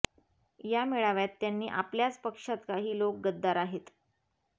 या मेळाव्यात त्यांनी आपल्याच पक्षात काही लोक गद्दार आहेत